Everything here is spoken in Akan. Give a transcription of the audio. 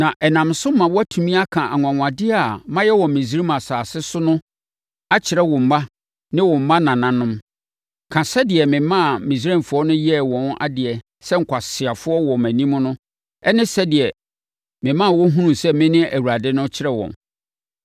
Na ɛnam so ma woatumi aka anwanwadeɛ a mayɛ wɔ Misraim asase so no akyerɛ wo mma ne wo mmanananom. Ka sɛdeɛ memaa Misraimfoɔ no yɛɛ wɔn adeɛ sɛ nkwaseafoɔ wɔ mʼanim no ne sɛdeɛ mema wɔhunuu sɛ mene Awurade no kyerɛ wɔn.”